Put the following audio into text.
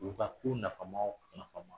U ka ko nafama o nafama